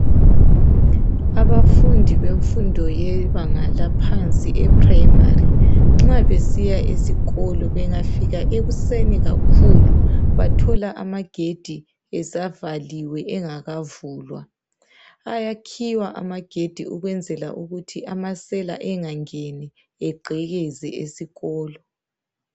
Abafundi bemfundo yebanga laphansi eprimary nxa besiya esikolo bengafika ekuseni kakhulu bathola amagedi esavaliwe engakavulwa ayakhiywa amagedi ukwenzela ukuthi amasela angangeni egqekeze esikolo.